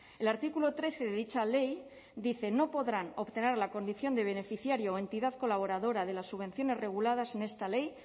el artículo trece de dicha ley dice no podrán obtener la condición de beneficiario o entidad colaboradora de las subvenciones reguladas en esta ley